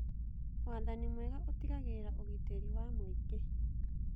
Wathani mwega ũtigagĩrĩra ũgitĩri wa mũingĩ.